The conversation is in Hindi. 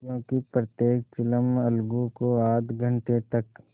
क्योंकि प्रत्येक चिलम अलगू को आध घंटे तक